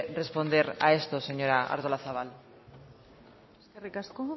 responder a esto señora artolazabal eskerrik asko